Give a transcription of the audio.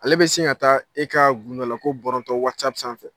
Ale bɛ sin ka taa e ka gundo la ko bɔrɔntɔ wasapu sanfɛ